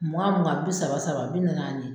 Mugan mugan, bi saba saba, bi naani naani.